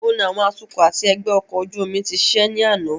Níbo ni àwọn atukọ̀ àti ẹgbẹ́ ọkọ̀ ojú omi ti ṣiṣẹ́ ní àná?